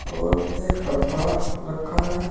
और एक डब्बा रखा है।